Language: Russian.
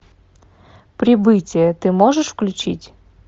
прибытие ты можешь включить